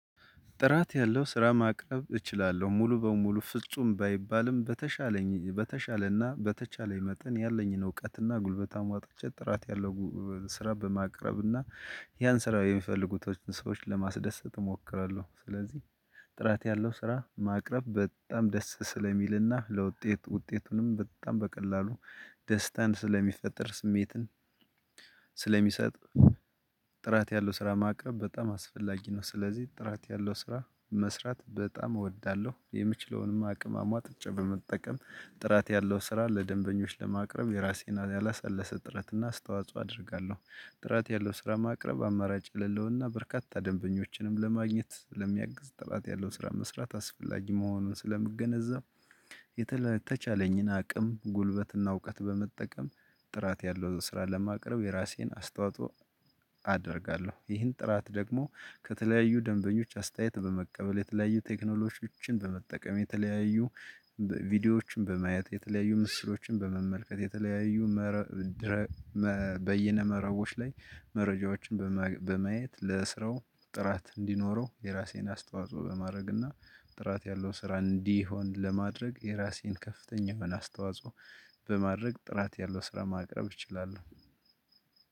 ጥራት ያለው ስራ ማቅረብ እችላለሁ ሙሉ በሙሉ ፍጹም ባይባልም በተሻለኝ በተሻለና በተቻለኝ መጠን ያለኝን እውቀትና ጉልበት አሟጥጬ ጥራት ያለው ስራ በማቅረብና ያን ስራ የሚፈልጉትን ሰዎችን ለማስደሰት እሞክራለሁ። ስለዚህ ጥራት ያለው ስራ ማቅረብ በጣም ደስ ስለሚልና ለውጤት ውጤቱንም በጣም በቀላሉ ደስታን ስለሚፈጥር ስሜትን ስለሚሰጥ ጥራት ያለው ስራ ማቅረብ በጣም አስፈላጊ ነው። ስለዚህ ጥራት ያለው ስራ መስራት በጣም እወዳለሁ። የምችለውንም አቅም አሟጥጬም በመጠቀም ጥራት ያለው ስራ ለደንበኞች ለማቅረብ የራሴን ያላሰለሰ ጥረት እና አስተዋጽኦ አደርጋለሁ። ጥራት ያለው ስራ ማቅረብ አማራጭ የሌለውና በርካታ ደንበኞችንም ለማግኘት ስለሚያግዝ ጥራት ያለውን ስራ መስራት አስፈላጊ መሆኑን ስለምገነዘብ የተለ የተቻለኝን አቅም ጉልበትና እውቀት በመጠቀም ጥራት ያለው ስራ ለማቅረብ የራሴን አስተዋጽኦ አደርጋለሁ። ይህን ጥራት ደግሞ ከተለያዩ ደንበኞች አስተያየት በመቀበል የተለያዩ ቴክኖሎጂዎችን በመጠቀም የተለያዩ ቪዲዮዎችን በማየት የተለያዩ ምስሎችን በመመልከት የተለያዩ መረ ድረ መ በይነ መረቦች ላይ መረጃዎችን በማግ በማየት ለስራው ጥራት እንዲኖረው የራሴን አስተዋጽኦ በማድረግና ጥራት ያለውን ስራ እንዲሆን ለማድረግ የራሴን ከፍተኛ የሆነ አስተዋጽኦ በማድረግ ጥራት ያለው ስራ ማቅረብ እችላለሁ።